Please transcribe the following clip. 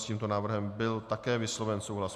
S tímto návrhem byl také vysloven souhlas.